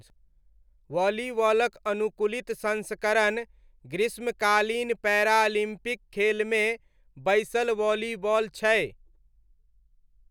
वॉलीबॉलक अनुकूलित संस्करण ग्रीष्मकालीन पैरालिम्पिक खेलमे बैसल वॉलीबॉल छै।